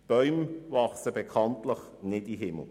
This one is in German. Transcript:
Bäume wachsen bekanntlich nicht in den Himmel.